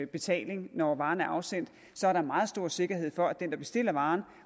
betaling når varen er afsendt er der meget stor sikkerhed for at den der bestiller varen